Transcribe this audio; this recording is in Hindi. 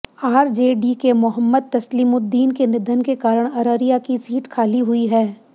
आरजेडी के मोहम्मद तसलीमुद्दीन के निधन के कारण अररिया की सीट खाली हुई है